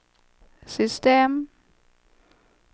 system